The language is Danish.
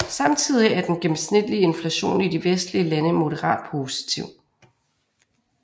Samtidig er den gennemsnitlige inflation i de vestlige lande moderat positiv